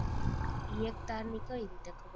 એક તારની કઈ રીતે ખબર